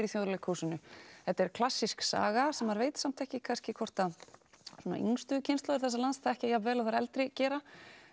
í Þjóðleikhúsinu þetta er klassísk saga sem maður veit samt ekki hvort að svona yngstu kynslóðir þessa lands þekkja jafn vel og þær eldri gera